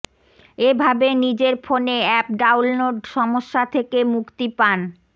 এভাবে নিজের ফোনে অ্যাপ ডাউনলোড সমস্যা থেকে মুক্তি পান